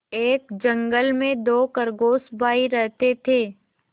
एक जंगल में दो खरगोश भाई रहते थे